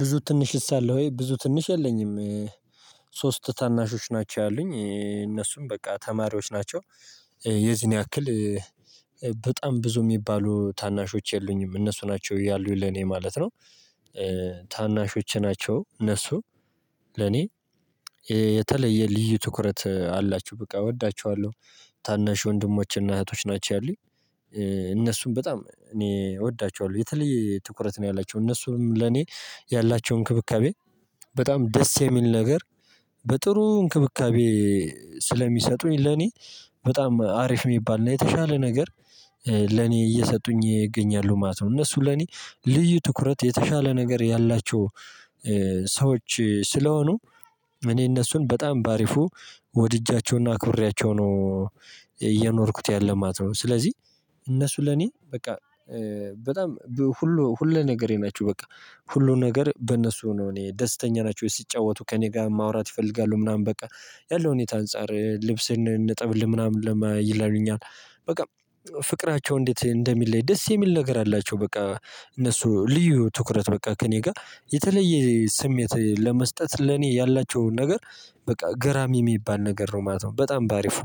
ብዙ ትንሽስ አለ ወይ ብዙ ትንሽ የለኝም? ሶስት ታናሾች ናቸው ያሉኝ እነሱም በቃ ተማሪዎች ናቸው። የዚን ያክል በጣም ብዙ የሚባሉ ታናሾች የሉኝም እነሱ ናቸው ያሉኝ ለኔ ማለት ነው። ታናሾች ናቸው እነሱ ለኔ የተለየ ልዩ ትኩረት አላችሁ በቃ እወዳችኋለሁ ታናሽ ወንድሞችና እህቶች ናቸው ያሉኝ። እነሱም በጣም እኔ እወዳቸዋለሁ የተለየ ትኩረት ነው ያላቸው እነሱም ለኔ ያላቸው እንክብካቤ በጣም ደስ የሚል ነገር። በጥሩ እንክብካቤ ስለሚሰጡኝ ለኔ በጣም አሪፍ የሚባልና የተሻለ ነገር። ለኔ እየሰጡኝ እገኛለሁ ማለት ነው እነሱ ለኔ ልዩ ትኩረት የተሻለ ነገር ያላቸው። ሰዎች ስለሆኑ እኔ እነሱን በጣም ባሪፉ ወድጃቸውና አክብሬያቸው ነው እየኖርኩት ያለ ማለት ነው። ስለዚህ እነሱ ለኔ በቃ በጣም ሁሉ ሁለ ነገሬ ናቸው በቃ ሁሉም ነገር በእነሱ ነው። እኔ ደስተኛ ናቸው ሲጫወቱ ከእኔ ጋር ማውራት ይፈልጋሉ ምናምን በቃ ያለው ሁኔታ አንፃር ልብስን እነጠብልህ ምናምን ይላሉኛል በቃ። ፍቅራቸው እንዴት እንደሚለይ ደስ የሚል ነገር አላቸው በቃ እነሱ ልዩ ትኩረት በቃ ከእኔ ጋር የተለየ ስሜት ለመስጠት ለኔ ያላቸውን ነገር በቃ ገራሚ የሚባል ነገር ነው ማለት ነው። በጣም በአሪፉ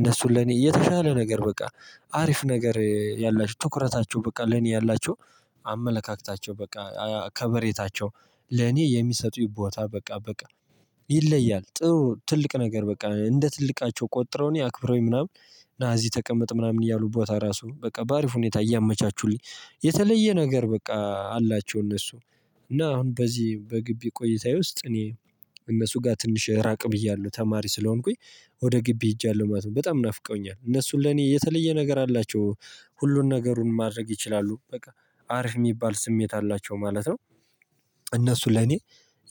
እነሱን ለኔ የተሻለ ነገር በቃ አሪፍ ነገር ያላቸው ትኩረታቸው በቃ ለኔ ያላቸው አመለካከታቸው በቃ ከበሬታቸው ለኔ የሚሰጡኝ ቦታ በቃ በቃ ይለያል ጥሩ ትልቅ ነገር በቃ እንደ ትልቃቸው ቆጥረውኝ ያክብረውኝ ምናምን። ና እዚህ ተቀመጥ ምናምን እያሉ ቦታ አራሱ በቃ በአሪፍ ሁኔታ እያመቻቹልኝ የተለየ ነገር በቃ አላቸው። እነሱ እና አሁን በዚህ በግቢ ቆይታዬ ውስጥ እኔ እነሱ ጋር ትንሽ ራቅ ብያለሁ ተማሪ ስለሆንኩኝ ወደ ግቢ ሄጃለሁ ማለት ነው። በጣም ናፍቀውኛል እነሱን ለኔ የተለየ ነገር አላቸው ሁሉን ነገሩን ማድረግ ይችላሉ በቃ አሪፍ የሚባል ስሜት አላቸው ማለት ነው። እነሱ ለኔ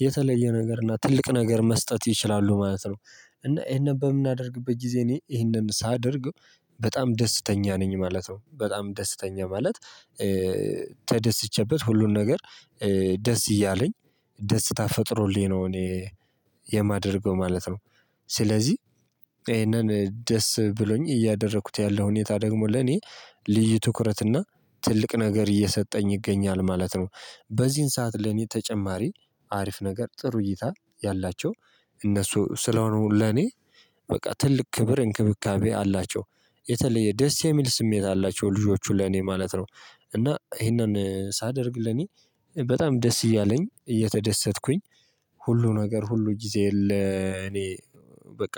የተለየ ነገር እና ትልቅ ነገር መስጠት ይችላሉ ማለት ነው። እና ይሄንን በምናደርግበት ጊዜ እኔ ይሄንን ሳደርግ በጣም ደስተኛ ነኝ ማለት ነው። በጣም ደስተኛ ማለት ተደስቼበት ሁሉን ነገር ደስ እያለኝ ደስታ ፈጥሮልኝ ነው እኔ የማደርገው ማለት ነው። ስለዚህ ይሄንን ደስ ብሎኝ እያደረኩት ያለው ሁኔታ ደግሞ ለኔ ልዩ ትኩረትና ትልቅ ነገር እየሰጠኝ ይገኛል ማለት ነው። በዚህን ሰዓት ለኔ ተጨማሪ አሪፍ ነገር ጥሩ እይታ ያላቸው እነሱ ስለሆኑ ለኔ በቃ ትልቅ ክብር እንክብካቤ አላቸው። የተለየ ደስ የሚል ስሜት አላቸው ልጆቹ ለኔ ማለት ነው። እና ይሄንን ሳደርግ ለኔ በጣም ደስ እያለኝ እየተደሰትኩኝ ሁሉ ነገር ሁሉ ጊዜ የለ እኔ በቃ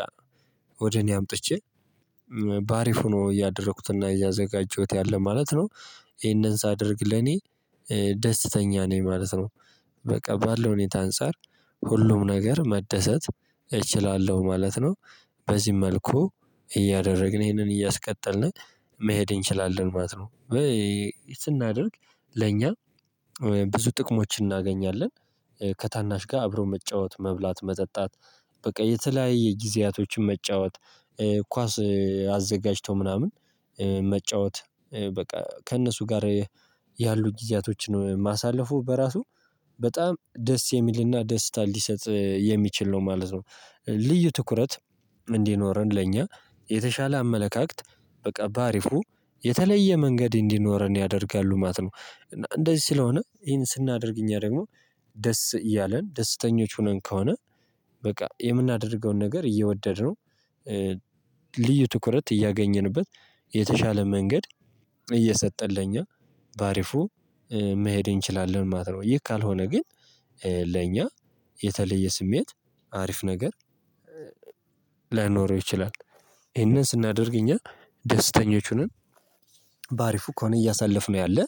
ወደ እኔ አምጥቼ በአሪፍ ሆኖ እያደረኩትና እያዘጋጀሁት ያለ ማለት ነው። ይሄንን ሳደርግ ለኔ ደስተኛ ነኝ ማለት ነው በቃ ባለው ሁኔታ አንፃር ሁሉም ነገር መደሰት እችላለሁ ማለት ነው። በዚህ መልኩ እያደረግን ይሄንን እያስቀጠልን መሄድ እንችላለን ማለት ነው። ስናደርግ ለኛ ብዙ ጥቅሞችን እናገኛለን ከታናሽ ጋር አብሮ መጫወት መብላት መጠጣት በቃ የተለያየ ጊዜያቶችን መጫወት ኳስ አዘጋጅቶ ምናምን መጫወት በቃ ከእነሱ ጋር ያሉ ጊዜያቶችን ማሳለፉ በራሱ በጣም ደስ የሚልና ደስታ ሊሰጥ የሚችል ነው ማለት ነው። ልዩ ትኩረት እንዲኖረን ለእኛ የተሻለ አመለካከት በቃ በአሪፉ የተለየ መንገድ እንዲኖረን ያደርጋሉ ማለት ነው። እና እንደዚህ ስለሆነ ይሄን ስናደርግ እኛ ደግሞ ደስ እያለን ደስተኞች ሆነን ከሆነ በቃ የምናደርገውን ነገር እየወደድን ነው። ልዩ ትኩረት እያገኘንበት የተሻለ መንገድ እየሰጠን ለኛ በአሪፉ መሄድ እንችላለን ማለት ነው። ይሄ ካልሆነ ግን ለእኛ የተለየ ስሜት አሪፍ ነገር ላይኖረው ይችላል። ይሄንን ስናደርግ እኛ ደስተኞች ሆነን በአሪፉ ከሆነ እያሳለፍነው ያለ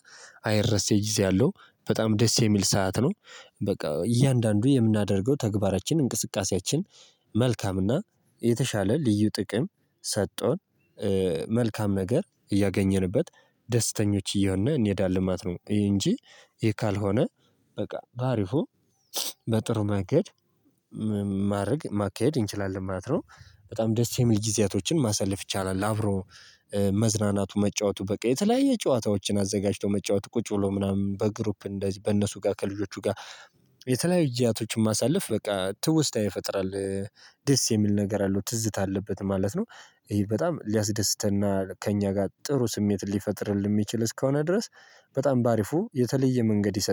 አይረሴ ጊዜ ያለው በጣም ደስ የሚል ሰዓት ነው። በቃ እያንዳንዱ የምናደርገው ተግባራችን እንቅስቃሴያችን መልካም እና የተሻለ ልዩ ጥቅም ሰቶን መልካም ነገር እያገኘንበት ደስተኞች እየሆንን እንሄዳለን ማለት ነው። እንጂ ይሄ ካልሆነ በቃ በአሪፉ በጥሩ መንገድ ማድረግ ማካሄድ እንችላለን ማለት ነው። በጣም ደስ የሚል ጊዜያቶችን ማሳለፍ ይቻላል። አብሮ መዝናናቱ መጫወቱ በቃ የተለያየ ጨዋታዎችን አዘጋጅቶ መጫወት ቁጭ ብሎ ምናምን በግሩፕ እንደዚህ በእነሱ ጋር ከልጆቹ ጋር የተለያዩ ጊዚያቶችን ማሳለፍ በቃ ትውስታ ይፈጥራል። ደስ የሚል ነገር አለው ትዝታ አለበት ማለት ነው። ይሄ በጣም ሊያስደስተና ከእኛ ጋር ጥሩ ስሜት ሊፈጥርልህ የሚችል እስከሆነ ድረስ በጣም በአሪፉ የተለየ መንገድ ይሰጣል